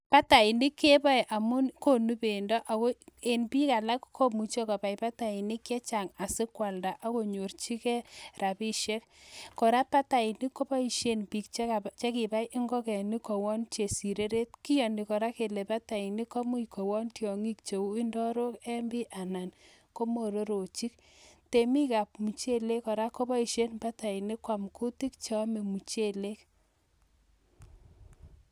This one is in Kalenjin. Batainik keboei amun konu bendo Ako eng biik alak komuchei kobai batainik chechang asikwalda akonyorchikei rabishek kora batainik koboishen biik chekibai ngokenik koyon chepsoreret kiyoni kora kele batainik komuch koyon chiongik cheu ndarok eng bii anan ko mororochik temik ab MicheleK kora koboishen batainik koam kutik cheomei michelek